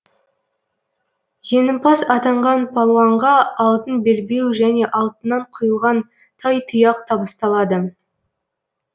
жеңімпаз атанған палуанға алтын белбеу және алтыннан құйылған тайтұяқ табысталады